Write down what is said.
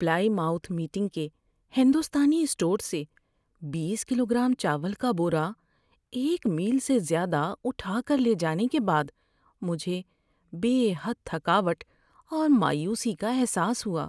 پلائی mouth meeting کے ہندوستانی store سے بیس کلو گرام چاول کا بورا ایک میل سے زیادہ اٹھا کر لے جانے کے بعد مجھے بے حد تھکاوٹ اور مایوسی کا احساس ہوا۔